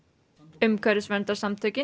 umhverfisverndarsamtökin